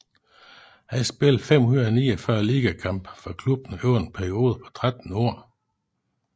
Han spillede 549 ligakampe for klubben over en periode på 13 år